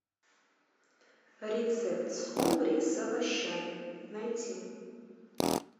рецепт скумбрии с овощами найти